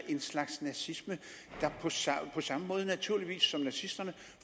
en slags nazisme der på samme måde naturligvis som nazisterne